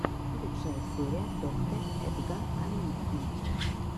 лучшая серия доктэ эдга камински